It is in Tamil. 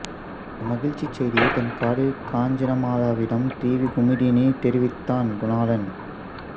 இந்த மகிழ்ச்சிச் செய்தியை தன் காதலி காஞ்சனமாலாவிடம் டி வி குமுதினி தெரிவித்தான் குணாளன்